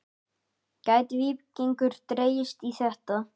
Gæti Víkingur dregist í þetta?